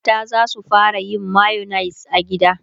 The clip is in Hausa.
mata zasu fara yin mayonnaise a gida